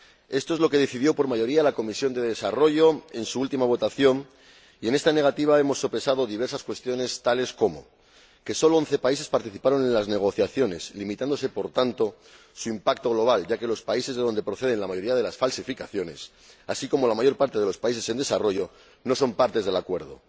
Esto es lo que decidió por mayoría la Comisión de Desarrollo en su última votación, y en esta negativa hemos sopesado diversas cuestiones, tales como primero, que solo once países participaron en las negociaciones, limitándose por tanto su impacto global, ya que los países de donde proceden la mayoría de las falsificaciones, así como la mayor parte de los países en desarrollo, no son partes del Acuerdo